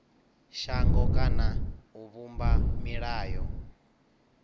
shango kana u vhumba milayo